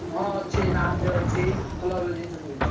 ହଁ ଅଛି Narzo ଅଛି ଭଲ ଭଲ ଜିନିଷ ସବୁ ଅଛି।